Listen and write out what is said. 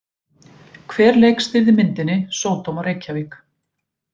Hver leikstýrði myndinni Sódóma Reykjavík?